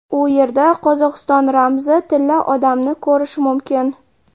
U yerda Qozog‘iston ramzi Tilla odamni ko‘rish mumkin.